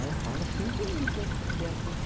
Ela fala cinco línguas, a Beatriz.